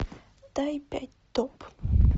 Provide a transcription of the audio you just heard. дай пять топ